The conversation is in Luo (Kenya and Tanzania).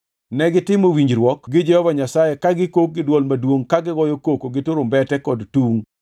Negitimo winjruok gi Jehova Nyasaye ka gikok gi dwol maduongʼ, ka gigoyo koko gi turumbete kod tungʼ.